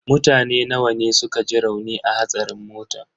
Mutane nawa ne suka ji rauni a hatsarin motan?